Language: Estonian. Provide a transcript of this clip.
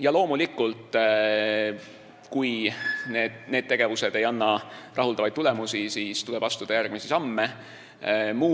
Ja loomulikult, kui need tegevused ei anna rahuldavaid tulemusi, siis tuleb astuda järgmisi samme.